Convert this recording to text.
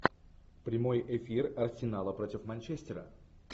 прямой эфир арсенала против манчестера